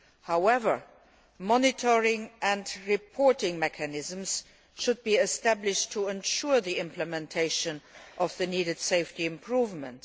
However, monitoring and reporting mechanisms should be established to ensure the implementation of the necessary safety improvements.